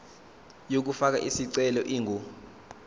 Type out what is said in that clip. yokufaka isicelo ingu